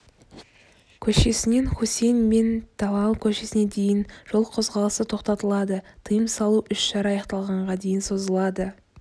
көшесінен хусейн бен талал көшесіне дейін жол қозғалысы тоқтатылады тыйым салу іс-шара аяқталғанға дейін созылады